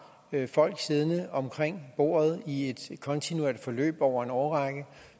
folk siddende omkring bordet i et kontinuerligt forløb over en årrække